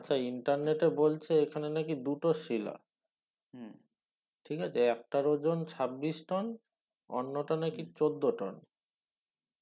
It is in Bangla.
আচ্ছা ইন্টারনেটে বলচ্ছে এখানে নাকি দুটো শিলা হম ঠিক আছে একটার ওজন ছাব্বিশ টোন অন্য টা নাকি চোদ্দ টোন